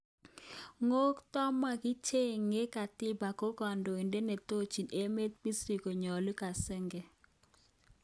kotko makichecheng katiba ko kandoitet netochin emet Bashir konyalu koshange